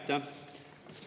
Aitäh!